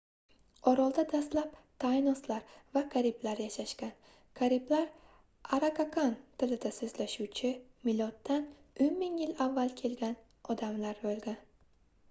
orolda dastlab taynoslar va kariblar yashashgan kariblar arakakan tilida soʻzlashuvchi miloddan 10 000 yil avval kelgan odamlar boʻlgan